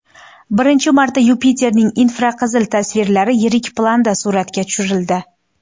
Birinchi marta Yupiterning infraqizil tasvirlari yirik planda suratga tushirildi.